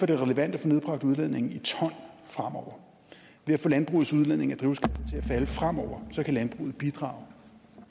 det relevant at få nedbragt udledningen i ton fremover ved at få landbrugets udledning af at falde fremover kan landbruget bidrage